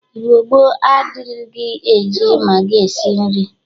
Igbo gboo adịrighi eji magị esi nri.